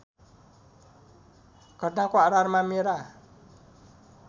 घटनाको आधारमा मेरा